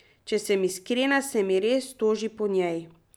Če sem iskrena, se mi res toži po njej.